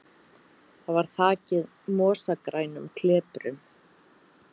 Það var þakið mosagrænum kleprum.